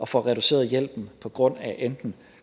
får reduceret hjælpen på grund af enten